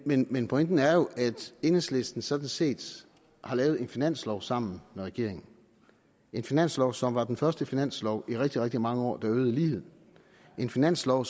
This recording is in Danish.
men men pointen er jo at enhedslisten sådan set har lavet en finanslov sammen med regeringen en finanslov som er den første finanslov i rigtig rigtig mange år der øger ligheden en finanslov